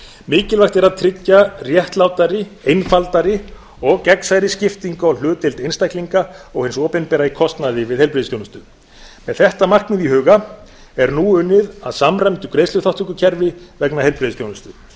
mikilvægt er að tryggja réttlátari einfaldari og gegnsærri skiptingu á hlutdeild einstaklinga og hins opinbera í kostnaði við heilbrigðisþjónustu með þetta markmið í huga er nú unnið að samræmdu greiðsluþátttökukerfi vegna heilbrigðisþjónustu